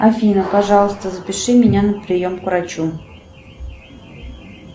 афина пожалуйста запиши меня на прием к врачу